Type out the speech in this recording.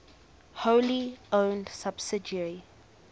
wholly owned subsidiary